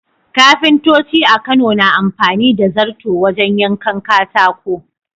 Kafintoci a Kano na amfani da zarto wajen yankan katako.